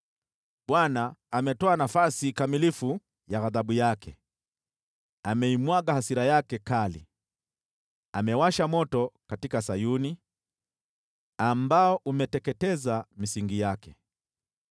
Bwana ametoa nafasi kamilifu ya ghadhabu yake; ameimwaga hasira yake kali. Amewasha moto katika Sayuni ambao umeteketeza misingi yake.